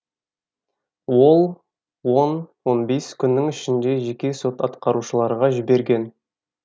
ол он он бес күннің ішінде жеке сот атқарушыларға жіберген